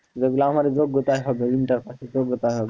যেগুলো আমাদের যোগ্যতায় হবে inter pass এর যোগ্যতায় হবে,